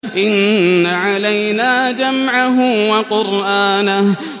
إِنَّ عَلَيْنَا جَمْعَهُ وَقُرْآنَهُ